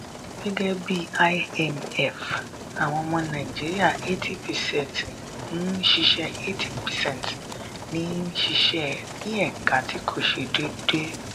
gẹ́gẹ́ bí imf àwọn ọmọ nàìjíríà 80 percent ń ṣiṣẹ́ 80 percent ń ṣiṣẹ́ ní ẹ̀ka tí kò ṣe déédéé.